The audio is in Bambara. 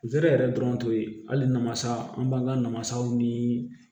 Zeri yɛrɛ dɔrɔn to ye hali namasa an b'an ka na masaw niii